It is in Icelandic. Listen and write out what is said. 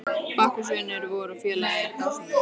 Bakkus vinur vor og félagi er dásamlegur.